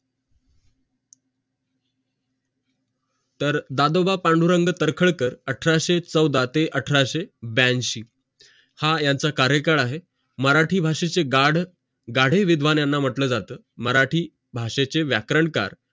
तर दादोबा पांडुरंग तर्खडकर अठराशे चवदा ते अठराशें ब्यांशी हा यांचा कार्यकाळ आहे मराठी भाषेचे गाडविध्वं याना मानलं जाते मराठी भाषेचे व्याकरणकार